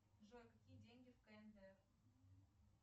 джой какие деньги в кндр